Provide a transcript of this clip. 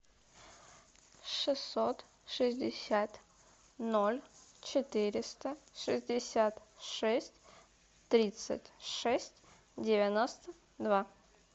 шестьсот шестьдесят ноль четыреста шестьдесят шесть тридцать шесть девяносто два